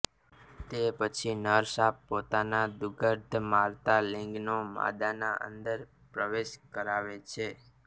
તે પછી નર સાપ પોતાના દુર્ગંધ મારતા લિંગનો માદાની અંદર પ્રવેશ કરાવે છે